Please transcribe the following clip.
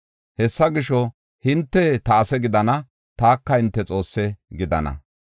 Hessa gisho, hinte ta ase gidana; taka hinte Xoosse gidana.